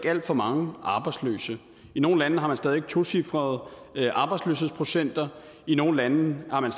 alt for mange arbejdsløse nogle lande har stadig væk tocifrede arbejdsløshedsprocenter i nogle lande har man